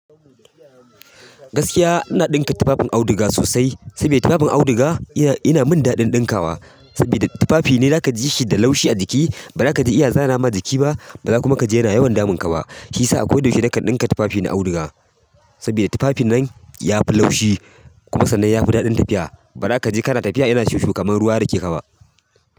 Gaskiya ina ɗinka tufafi auduga sosai sabida tufafin auduga ina min daɗin ɗinkawa sabida tufafi ne za ka ji shi da laushi a jiki ba za ka je iya zana ma jiki ba, ba za ka kuma ji yana yawan damun ka ba. Shi sa ako da yaushe naka ɗinka tufafi da auduga. Saboda tufafin nan yafi laushi kuma sannan yafi daɗin tafiya. Ba ra ka je kana tafiya yana shushu kamar ruwa ya da ke ka ba.